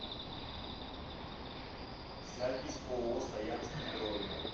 запись ооо саянский бройлер